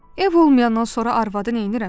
Ev olmayandan sonra arvadı neynirəm?